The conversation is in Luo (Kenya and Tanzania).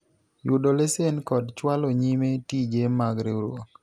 yudo lesen kod chwalo nyime tije mag riwruok